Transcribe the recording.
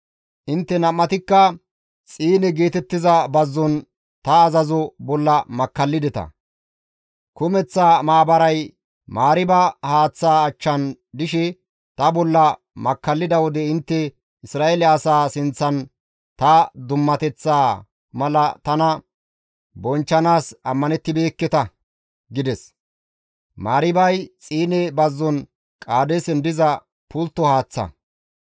Intte nam7atikka Xiine geetettiza bazzon ta azazo bolla makkallideta; kumeththa maabaray Mariiba haaththaa achchan dishe ta bolla makkallida wode intte Isra7eele asaa sinththan ta dummateththaa mala tana bonchchanaas ammanettibeekketa» gides; [Mariibay Xiine bazzon Qaadeesen diza pultto haaththa.]